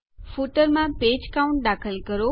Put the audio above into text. ફૂટરમાં page count પુષ્ઠ ગણતરી દાખલ કરો